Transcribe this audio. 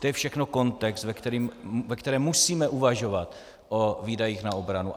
To je všechno kontext, ve kterém musíme uvažovat o výdajích na obranu.